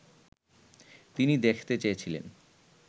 তিনি দেখতে চেয়েছিলেন